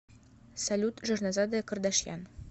салют жирнозадая кардашьян